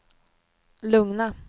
lugna